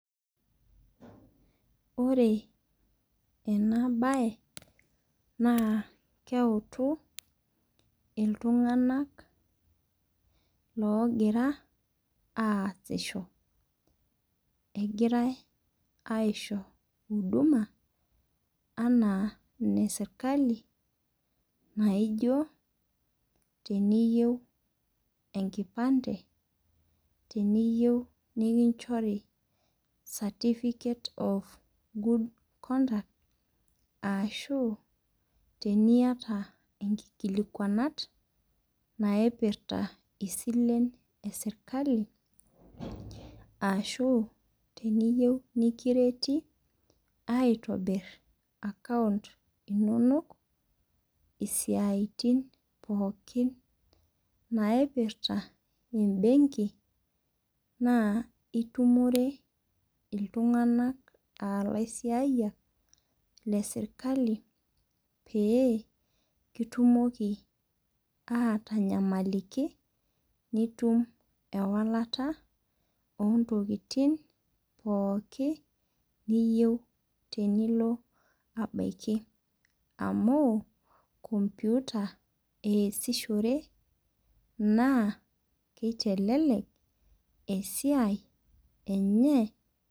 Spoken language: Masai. Ore ena bae naa keutu iltung'ana logira aasisho, egirai aisho huduma anaa ene serikali naijo teniyou enkipante teniyou nikinchori certificate of good conduct ashuu teniyata inkikilikuanat naipirta isilen ee serikali ashu teniyou nikireti aitobir account inonok isiatin pookin naipirta ebenkii naa itumore iltung'ana aa ilaisiyak le serikali pee itumoki atanyamaliki nitum ewalata ino ontokitin pookin niyeu tenilo abaki amu computer easishore naa kitelelek esiai enye.